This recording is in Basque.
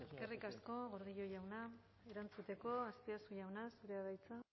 eskerrik asko gordillo jauna erantzuteko azpiazu jauna zurea da hitza